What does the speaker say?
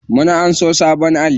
Mun anso sabon alli.